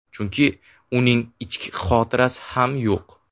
Chunki uning ichki xotirasi ham yo‘q.